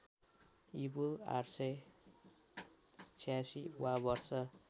ईपू ८८६ वा वर्ष